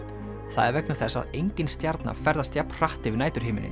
það er vegna þess að engin stjarna ferðast jafn hratt yfir